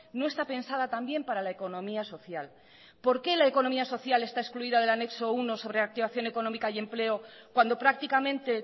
no está pensada también para la economía social por que la economía social está excluida del anexo primero sobre activación económica y empleo cuando prácticamente